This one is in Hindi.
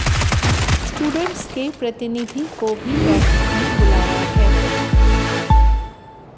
स्टूडेंट्स के प्रतिनिधि को भी बैठक में बुलाया है